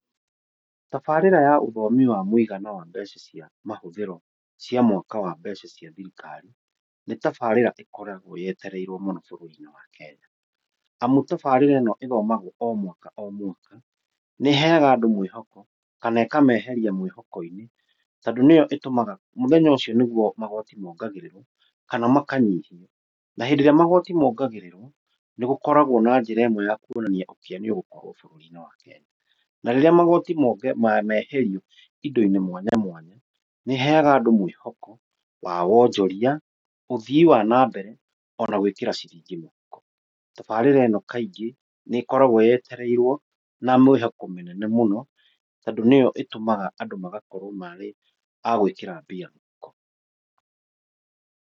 Tabaarĩra ya ũthomi wa mũigana wa mbeca cia mahũthĩro cia mwaka wa mbeca cia thirikari, nĩ tabaarĩra ĩkoragwo yetereirwo mũno bũrũri-inĩ wa Kenya. Amu tabaarĩra ĩno ĩthomagwo o mwaka o mwaka, nĩ ĩheaga andũ mwĩhoko kana ĩkameheria mwĩhoko-inĩ. Tondũ nĩyo ĩtũmaga muthenya ũcio nĩguo magooti mongagĩrĩrwo kana makanyihio. Na hĩndĩ ĩrĩa magooti mongagĩrĩrwo nĩ gũkoragwo na njĩra ĩmwe ya kuonania ũkĩa nĩ ũgũkorwo bũrũri-inĩ wa Kenya. Na rĩrĩa magooti meherio indo-inĩ mwanya mwanya, nĩ ĩheaga andũ mwĩhoko wa wonjoria, ũthii wa nambere ona gwĩkĩra ciringi mũhuko. Tabaarĩra ĩno nĩ ĩkoragwo yetereirwo na mĩhoko mĩnene mũno tondũ nĩyo ĩtũmaga andũ magakorwo marĩ a gwĩkĩra mbia mũhuko.